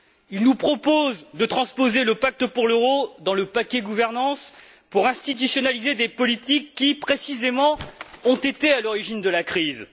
Ils nous proposent de transposer le pacte pour l'euro dans le paquet gouvernance pour institutionnaliser des politiques qui, précisément, ont été à l'origine de la crise.